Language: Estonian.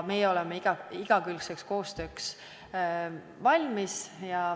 Meie oleme igakülgseks koostööks valmis.